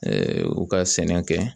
u ka sɛnɛ kɛ